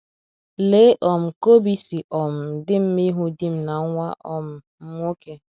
Lee um ka obi si um dị m mma ịhụ di m na nwa um m nwoke!